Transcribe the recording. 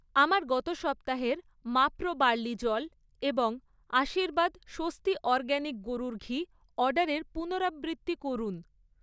আমার গত সপ্তাহের মাপ্রো বার্লি জল এবং আশীর্বাদ স্বস্তি অরগ্যানিক গরুর ঘি অর্ডারের পুনরাবৃত্তি করুন।